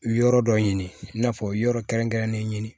Yɔrɔ dɔ ɲini i n'a fɔ yɔrɔ kɛrɛnkɛrɛnnen ɲini